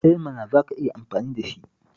Eh mana, za ka iya amfani da shi!